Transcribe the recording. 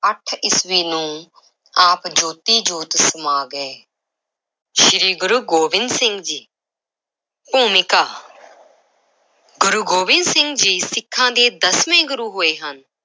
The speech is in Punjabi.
ਅੱਠ ਈਸਵੀ ਨੂੰ ਆਪ ਜੋਤੀ-ਜੋਤ ਸਮਾ ਗਏ ਸ੍ਰੀ ਗੁਰੂ ਗੋਬਿੰਦ ਸਿੰਘ ਜੀ ਭੂਮਿਕਾ ਗੁਰੂ ਗੋਬਿੰਦ ਸਿੰਘ ਜੀ ਸਿੱਖਾਂ ਦੇ ਦਸਵੇਂ ਗੁਰੂ ਹੋਏ ਹਨ।